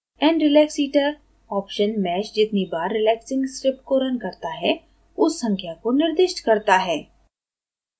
nrelaxiter option mesh जितनी बार relaxing script को रन करता है उस संख्या को निर्दिष्ट करता है